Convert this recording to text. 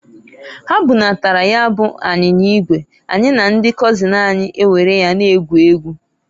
Ha bunatara ya bu anyinya igwe, anyị na ndị kọzin anyị ewere ya na-egwu egwu.